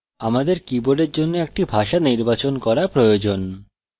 আমাদের কীবোর্ডের জন্য একটি ভাষা নির্বাচন করা প্রয়োজন